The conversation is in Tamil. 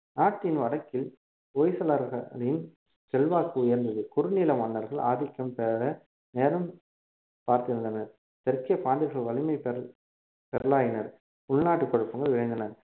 நாட்டின் வடக்கில் ஓய்சளார்களின் செல்வாக்கு உயர்ந்தது குறுநில மன்னர்கள் ஆதிக்கம் பெற நேரம் பார்த்திருந்தனர் தெற்கே பாண்டியர்கள் வலிமை பெற~ பெறலாயினர் உள்நாட்டு குழப்பங்கள் விளைந்தன